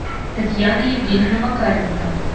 татьяна евгеньевна макаренко